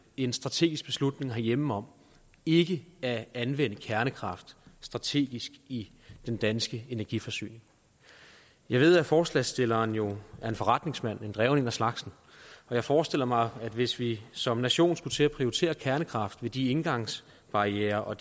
en strategisk beslutning herhjemme om ikke at anvende kernekraft strategisk i den danske energiforsyning jeg ved at forslagsstilleren jo er en forretningsmand og en dreven en af slagsen og jeg forestiller mig at hvis vi som nation skulle til at prioritere kernekraften med de indgangsbarrierer og